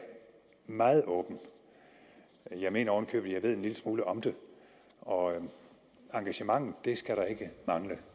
meget åben jeg mener oven i købet at jeg ved en lille smule om det og engagement skal der ikke mangle